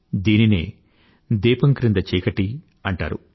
దీనినే దీపం క్రింద చీకటి అంటారు